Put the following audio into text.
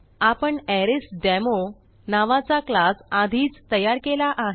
आपण अरेसडेमो नावाचा क्लास आधीच तयार केला आहे